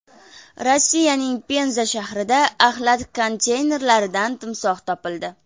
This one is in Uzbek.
Rossiyaning Penza shahrida axlat konteyneridan timsoh topildi.